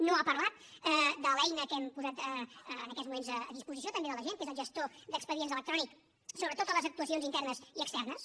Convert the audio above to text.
no ha parlat de l’eina que hem posat en aquests moments a disposició també de la gent que és el gestor d’expedients electrònic sobre totes les actuacions internes i externes